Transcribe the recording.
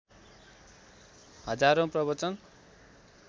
हजारौं प्रवचन